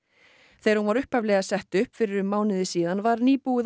þegar hún var upphaflega sett upp fyrir um mánuði síðan var nýbúið að